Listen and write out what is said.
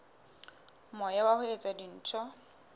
moya wa ho etsa dintho